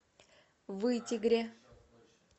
вытегре